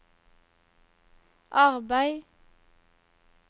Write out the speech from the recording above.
arbeid